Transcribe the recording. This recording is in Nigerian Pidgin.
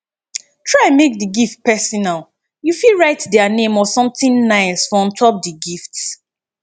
try make di gift personal you fit write their name or something nice for on top di gift